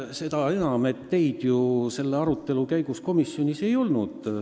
Seda enam, et teid selle arutelu ajal komisjonis ei olnud.